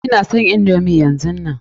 Ina son indomi yanzunnan.